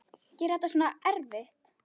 Gera þetta svona erfitt.